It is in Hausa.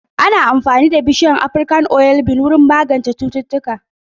Ana amfani da bishiyar Afirka oil bean wajen magance cututtuka